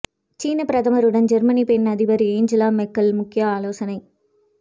சீன பிரதமருடன் ஜெர்மனி பெண் அதிபர் ஏஞ்சலா மெர்க்கல் முக்கிய ஆலோசனை